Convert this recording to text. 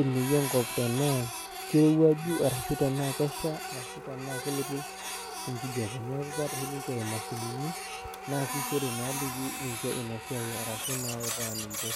eneyia enkop tenaa kirowuaju arashu tenaa kesha arashu tenaa kelotu enkijape neku keeta oshi ninche imashinini nasishore naaliki ninche ina siai arashu nautaa ninche.